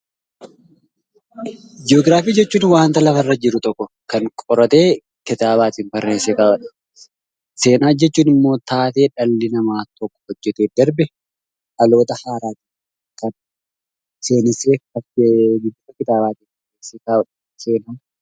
Joogiraafii jechuun waan lafarra jiru tokko kan qoratee kitaabaatiin barreessee kaa'uudha. Seenaa jechuunimmoo taatee dhalli namaa tokko hojjatee darbe dhaloota haaraan seenessee bifa kitaabaan kan ka'uudha.